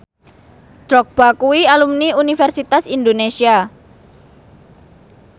Drogba kuwi alumni Universitas Indonesia